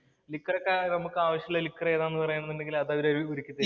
liquor‍ ഒക്കെ നമുക്കാവശ്യത്തിനുള്ള liquor‍ ഏതാണെന്ന് പറയുകയാണെന്നുണ്ടെങ്കില്‍ അത് അവര് ഒരുക്കി